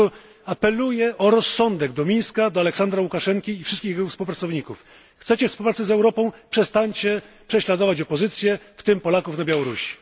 Dlatego apeluję o rozsądek do Mińska, do Aleksandra Łukaszenki i wszystkich jego współpracowników chcecie współpracy z Europą, przestańcie prześladować opozycję, w tym Polaków na Białorusi.